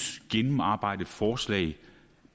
gennemarbejdet forslag